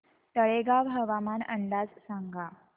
तळेगाव हवामान अंदाज सांगा